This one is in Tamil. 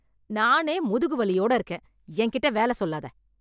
நானே முதுகு வலியோட இருக்கேன் என்கிட்ட வேல சொல்லாத.